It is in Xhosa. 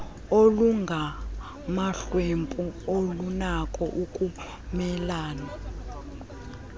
olungamahlwempu alunako ukumelane